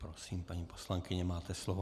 Prosím, paní poslankyně, máte slovo.